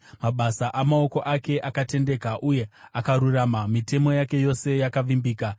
Mabasa amaoko ake akatendeka uye akarurama, mitemo yake yose yakavimbika.